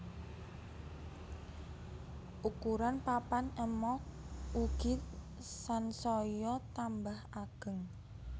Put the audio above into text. Ukuran papan ema ugi sansaya tambah ageng